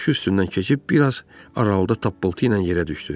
Başı üstündən keçib biraz aralıda tappıltı ilə yerə düşdü.